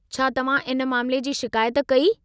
छा तव्हां इन मामले जी शिकायत कई?